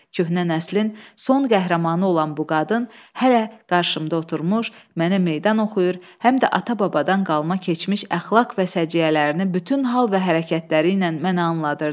Köhnə nəslin son qəhrəmanı olan bu qadın hələ qarşımda oturmuş, mənə meydan oxuyur, həm də ata-babadan qalma keçmiş əxlaq və səciyyələrini bütün hal və hərəkətləri ilə mənə anladırdı.